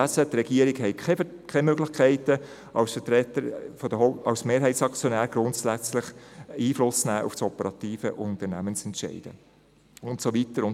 Die Regierung habe keine Möglichkeiten, als Mehrheitsaktionärin grundsätzlich Einfluss auf operative Unternehmensentscheide zu nehmen.